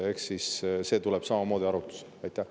Eks see tuleb samamoodi arutlusele.